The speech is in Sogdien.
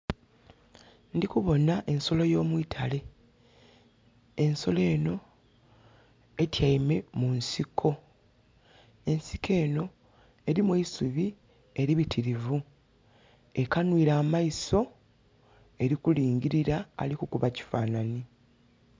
Ndhikubonha ensolo yo mwitale, ensolo enho etyaime mu nsiko, ensiko enho erimu eisubi eribitirivu. Ekanwile amaiso erikulingirila ali kukuba kifanhanhi.